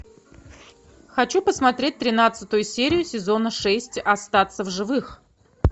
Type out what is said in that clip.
хочу посмотреть тринадцатую серию сезона шесть остаться в живых